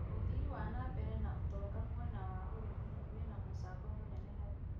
ũthii wa nambere ya ũtonga mũena wa ũrĩmi wĩna mũcango mũnene harĩ